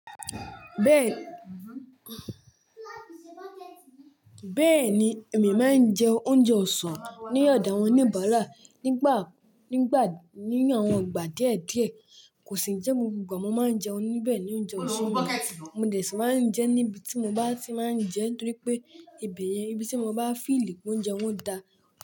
Bẹ́ẹ̀ni, èmi máa ń jẹ oúnjẹ ọ̀sán ní ọ̀dà awọn oníbáàrá nígbà, nínu àwọn ìgbà díẹ̀ díẹ̀. Kò sì jẹ́ gbogbo ìgbà mo máa ń jẹun níbẹ̀ ní oúnjẹ òsúùn mi. Mo dẹ̀ sì máa ń jẹ níbi tí mo bá sì máa ń jẹ nítorí pé ibẹ̀ yẹn, ibi tí mo bá fìí lì pé oúnjẹ wọn dà.